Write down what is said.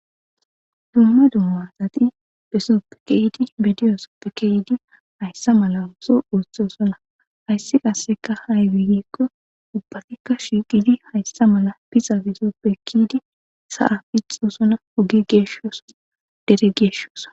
dumma dumma zati hesoppe keyidi bidiyosoppekeyidi hayssa mala uso urthoosona hayssi qasseka haywigikko ubbatikka shiqidi hayssa mala piza besoppe kiydi sa7a pixosona ogi geeshooso dere geeshshoosa